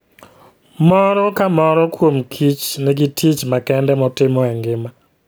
Moro ka moro kuom kich nigi tich makende motimo e ngima .